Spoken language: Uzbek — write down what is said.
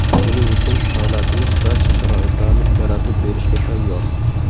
Buning uchun davlatimiz barcha sharoitlarni yaratib berishga tayyor.